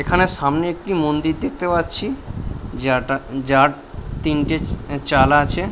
এখানে সামনে একটি মন্দির দেখতে পাচ্ছি যেটা যার তিনটে এ চাল আছে।